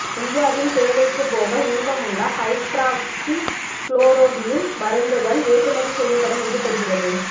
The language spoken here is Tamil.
இந்தியாவின் தேவைக்குப்போக மீதமுள்ள ஹைட்ராக்ஸிகுளோரோகுயின் மருந்துகள் ஏற்றுமதி செய்யப்படும் என்று தெரிகிறது